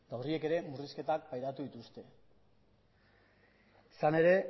horiek ere murrizketak pairatu dituzte izan ere